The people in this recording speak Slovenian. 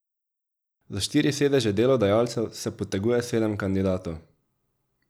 Za štiri sedeže delodajalcev se poteguje sedem kandidatov.